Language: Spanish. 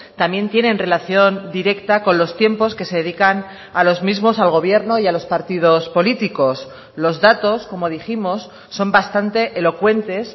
también tienen relación directa con los tiempos que se dedican a los mismos al gobierno y a los partidos políticos los datos como dijimos son bastante elocuentes